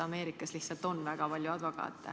Ameerikas lihtsalt on väga palju advokaate.